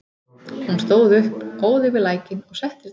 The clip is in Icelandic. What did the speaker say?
Hún stóð upp, óð yfir lækinn og settist á hinn bakkann.